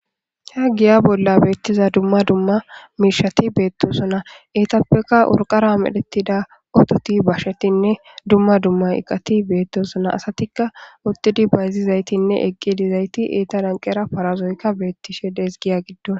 Ha giya bola betiza dumma dumma mishata betosona eyitappekka uriqappe medhdhrtida ototi bashshetinne dumma dumma iqati betosona asatikka utidi bayizizayiti eqidi dizayisi eyita laniqera parazoyika betishe deesi giya giddoni